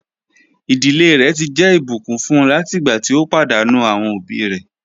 Iḍilẹ̀ rẹ̀ ti jẹ́ ibùkún fún láti igbà tí o padànù awọn obì rẹ̀.